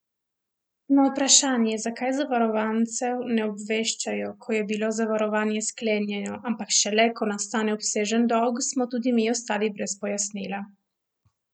Na vprašanje, zakaj zavarovancev ne obveščajo, ko je bilo zavarovanje sklenjeno, ampak šele, ko nastane obsežen dolg, smo tudi mi ostali brez pojasnila.